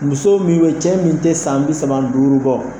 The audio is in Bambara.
Muso minnu cɛ min te san bi saba ni duuru bɔ